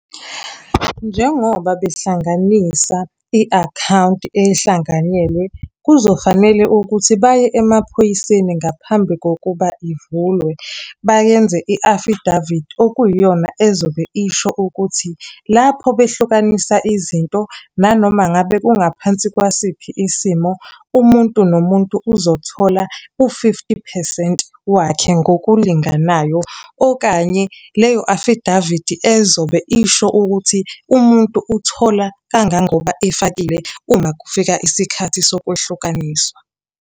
Njengoba behlanganisa i-akhawunti ehlanganyelwe, kuzofanele ukuthi baye emaphoyiseni ngaphambi kokuba ivulwe, bayenze i-affidavit okuyiyona ezobe isho ukuthi, lapho behlukanisa izinto, nanoma ngabe kungaphansi kwasiphi isimo, umuntu nomuntu uzothola u-fifty phesenti wakhe ngokulinganayo, okanye leyo afidavidi ezobe isho ukuthi umuntu uthola kangangoba efakile uma kufika isikhathi sokuhlukanisa.